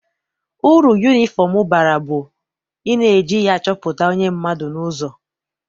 Uru yunifọm bara bụ na eji ya achọpụta onye mmadụ n'ụzọ.